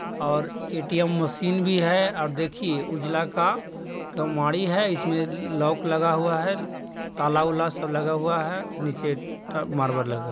ओर ATM machine भी है और देखिए उजला का -कमाडी है इसमे ल् -लॉउक लगा हुआ है | ताल वाला सब लगा हुआ है। नीचे ट _मरबल लगा--